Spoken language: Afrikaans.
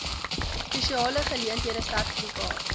spesiale geleenthede sertifikaat